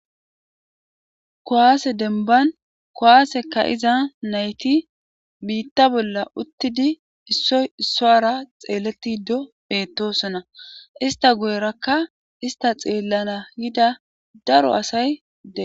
kuwaase denban kuwaasekka iza nayti biitta bolla uttidi issoy issoara xeeletide bettosona ista guyerakka ista xeellana yida daro asay de7ees